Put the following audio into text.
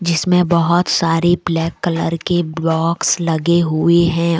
जिसमे बहोत सारी ब्लैक कलर की बॉक्स लगे हुई हैं।